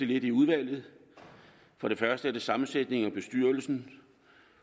lidt i udvalget for det første er der sammensætningen af bestyrelsen